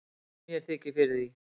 mér þykir fyrir því